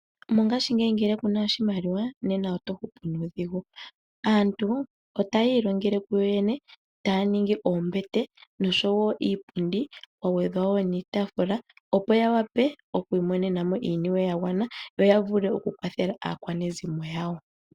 Mongashingeyi ngele ku na oshimaliwa nena oto hupu nuudhigu. Aantu otaya ilongele kuyo yene, taya ningi oombete noshowo iipundi kwa gwedhwa wo niitaafula, opo ya wape okwiimonena mo iiniwe ya gwana yo ya vule okukwathela aakwanezimo yawo.